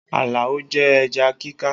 Alao jẹ ẹja kíká